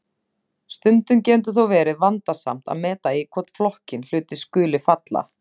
Stundum getur þó verið vandasamt að meta í hvorn flokkinn hlutir skuli falla.